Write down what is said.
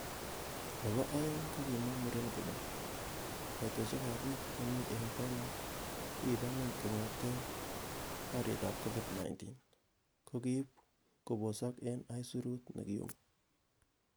Nebo o'eng ko kimwa muren kole,"Koitosiekab bik chemi en bonwek kokiba ngwony kongeten borietab Covid -19,Kokiib kobosok en aisurut nekiyumi.